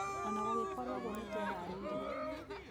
Ona gũgĩkũrwo ũguo nĩtwĩharĩirie.